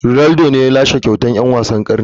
Ronaldo ne ya lashe kyautar dan wasan karni.